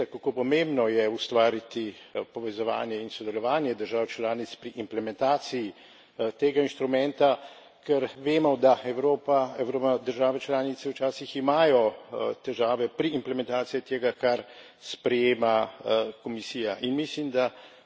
Da se torej zaveda, kako pomembno je ustvariti povezovanje in sodelovanje držav članic pri implementaciji tega inštrumenta, ker vemo, da Evropa oziroma države članice včasih imajo težave pri implementaciji tega, kar sprejema Komisija.